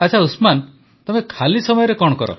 ଆଚ୍ଛା ଉସମାନ ତମେ ଖାଲି ସମୟରେ କଣ କର